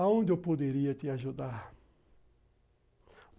Aonde eu poderia te ajudar?